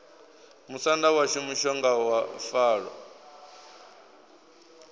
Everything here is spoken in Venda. musanda washu mushonga wa falo